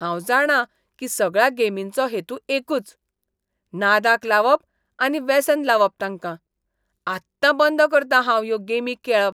हांव जाणां की सगळ्या गेमींचो हेतू एकूच. नादाक लावप आनी वेसन लावप तांकां. आत्तां बंद करतां हांव ह्यो गेमी खेळप.